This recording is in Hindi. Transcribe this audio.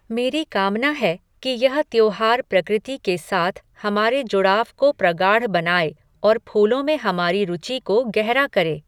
मेरी कामना है कि यह त्योहार प्रकृति के साथ हमारे जुड़ाव को प्रगाढ़ बनाए और फूलों में हमारी रुचि को गहरा करे।